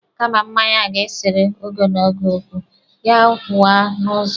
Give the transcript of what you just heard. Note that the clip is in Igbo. Kama mmanya ga-esere ogo na ogo okwu, ya waa n'ụzọ.